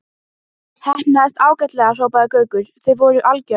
Heppnaðist ágætlega hrópaði Gaukur, þið voruð algjört.